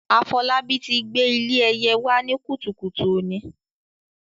Afolabi ti gbé ilé ẹyẹ wá ní kùtùkùtù òní.